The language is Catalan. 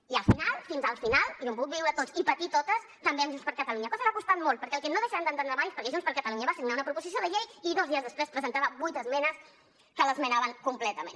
i al final fins al final i ho hem pogut viure tots i patir totes també amb junts per catalunya cosa que ha costat molt perquè el que no deixarem d’entendre mai és per què junts per catalunya va signar una proposició de llei i dos dies després presentava vuit esmenes que l’esmenaven completament